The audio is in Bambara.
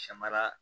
Samara